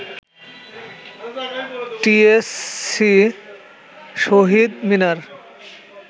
TSC, Shaheed Minar